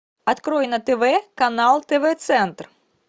открой на тв канал тв центр